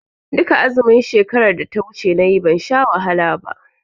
Duka azumin shekaran da ta wuce nayi ban sha wahala ba.